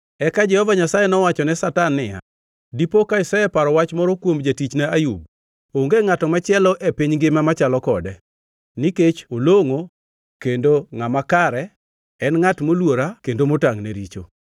Eka Jehova Nyasaye nowachone Satan niya, “Dipo ka iseparo wach moro kuom jatichna Ayub? Onge ngʼato machielo e piny ngima machalo kode nikech olongʼo kendo ngʼama kare en ngʼat moluora kendo motangʼ ne richo.”